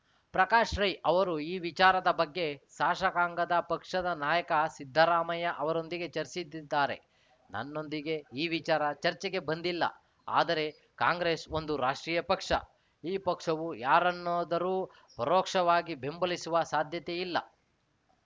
ಪ್ರಕಾಶ್‌ ರೈ ಅವರು ಈ ವಿಚಾರದ ಬಗ್ಗೆ ಶಾಸಕಾಂಗ ಪಕ್ಷದ ನಾಯಕ ಸಿದ್ದರಾಮಯ್ಯ ಅವರೊಂದಿಗೆ ಚರ್ಚಿಸಿದ್ದಾರೆ ನನ್ನೊಂದಿಗೆ ಈ ವಿಚಾರ ಚರ್ಚೆಗೆ ಬಂದಿಲ್ಲ ಆದರೆ ಕಾಂಗ್ರೆಸ್‌ ಒಂದು ರಾಷ್ಟ್ರೀಯ ಪಕ್ಷ ಈ ಪಕ್ಷವು ಯಾರನ್ನಾದರೂ ಪರೋಕ್ಷವಾಗಿ ಬೆಂಬಲಿಸುವ ಸಾಧ್ಯತೆಯಿಲ್ಲ